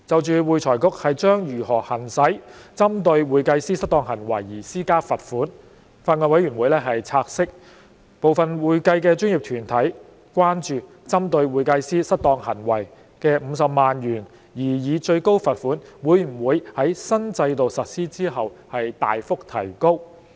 就會財局將如何行使針對會計師失當行為而施加罰款，法案委員會察悉，部分會計專業團體關注，針對會計師失當行為的50萬元擬議最高罰款會否在新制度實施後大幅提高。